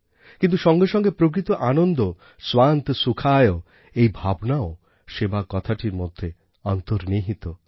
কিন্তু সঙ্গে সঙ্গে প্রকৃত আনন্দ স্বান্ত সুখায় এই ভাবনাও সেবা কথাটির মধ্যে অন্তর্নিহিত